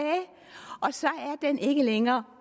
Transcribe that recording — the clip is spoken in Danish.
og så er den ikke længere